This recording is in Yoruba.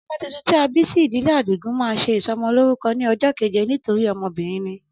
Ọmọ tuntun tí a bí sí ìdílé Àdìgún, má ṣe ìsọmọ lórúko ní ojó keje nítorí ọmọbìnrin ni